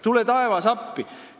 Tule taevas appi!